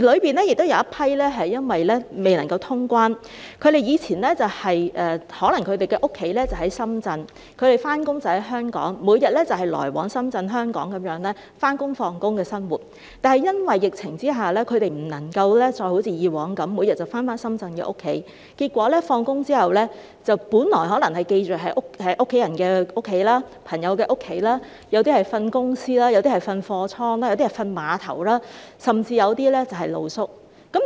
當中亦有一批是因為未能夠通關，而他們的家可能在深圳，上班則在香港，他們以往每天來往深圳和香港，過着上班和下班的生活，但因為疫情之下，他們不能夠再好像以前一樣每天返回深圳的家，結果放工後便要寄宿在家人的家、朋友的家，有些人則在公司睡覺，有些人則在貨倉睡覺，有些人在碼頭睡覺，甚至有些人要露宿街